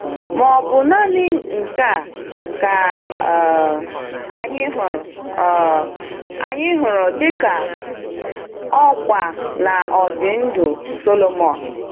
Ma ọ bụ naanị nke a ka um anyị hụrụ um anyị hụrụ dị ka ọkwa n’ọdị ndụ Sọlọmọn?